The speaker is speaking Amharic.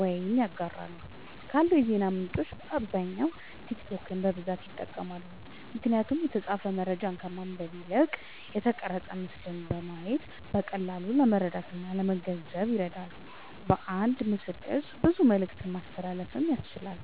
ወይም ያጋራሉ። ካሉ የዜና ምንጮች በአብዛኛዉ ቲክቶክን በብዛት ይጠቀማሉ። ምክንያቱም የተጻፈ መረጃን ከማንበብ ይልቅ የተቀረጸ ምስልን በማየት በቀላሉ ለመረዳትእና ለመገንዘብ ይረዳል። በአንድ ምስልቅርጽ ብዙ መልክቶችን ማስተላለፍ ያስችላል።